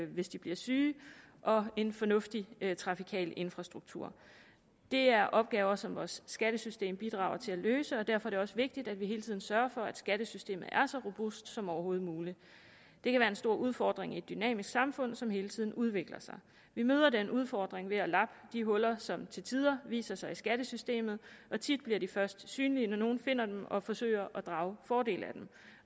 hvis de bliver syge og en fornuftig trafikal infrastruktur det er opgaver som vores skattesystem bidrager til at løse og derfor er det også vigtigt at vi hele tiden sørger for at skattesystemet er så robust som overhovedet muligt det kan være en stor udfordring i et dynamisk samfund som hele tiden udvikler sig vi møder den udfordring ved at lappe de huller som til tider viser sig i skattesystemet og tit bliver de først synlige når nogle finder dem og forsøger at drage fordel